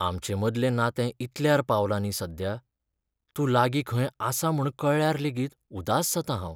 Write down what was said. आमचे मदलें नातें इतल्यार पावलां न्ही सध्या, तूं लागीं खंय आसा म्हूण कळ्ळ्यार लेगीत उदास जाता हांव.